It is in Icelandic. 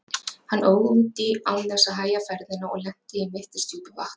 Hann óð út í án þess að hægja ferðina og lenti í mittisdjúpu vatni.